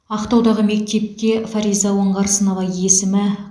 ақтаудағы мектепке фариза оңғарсынова есімі